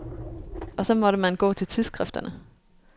Og så måtte man gå til tidsskrifterne.